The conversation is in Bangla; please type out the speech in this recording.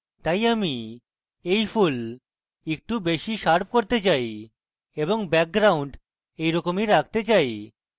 তাই আমি এই ফুল একটু বেশী শার্প করতে চাই এবং background এইরকমই রাখতে চাই